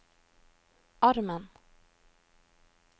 armen